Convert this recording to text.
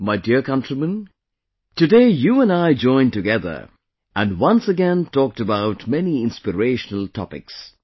My dear countrymen, today you and I joined together and once again talked about many inspirational topics